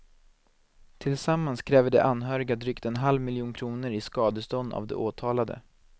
Tillsammans kräver de anhöriga drygt en halv miljon kronor i skadestånd av de åtalade.